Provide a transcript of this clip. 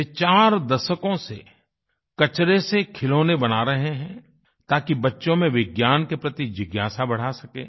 वे चार दशकों से कचरे से खिलौने बना रहे हैं ताकि बच्चों में विज्ञान के प्रति जिज्ञासा बढ़ा सकें